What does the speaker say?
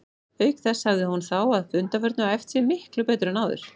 Auk þess hafði hún þá að undanförnu æft sig miklu betur en áður.